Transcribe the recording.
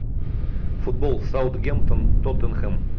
футбол саутгемптон тоттенхэм